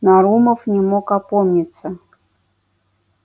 нарумов не мог опомниться